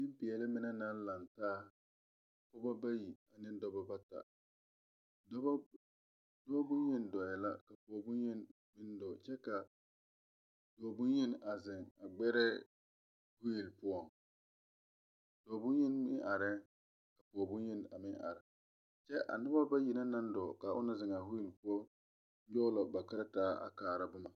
Ninpɛɛle mene nang lang taa pɔgba bayi ni dɔba bata doɔ bunyeni dɔɔ la poɔ bunyeni meng dɔɔ kye ka doɔ bunyeni a zeng gberɛɛ wheel puo doɔ bunyeni meng arẽ kye ka poɔ bunyeni meng arẽ kye ka a nuba bayi na mang dɔɔ kaa ɔna zengaã whell pou nyuge la ba karataa a kaara buma.